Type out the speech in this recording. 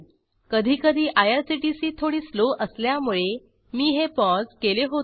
कधी कधी आयआरसीटीसी थोडी स्लो असल्यामुळे मी हे पौसे केले होते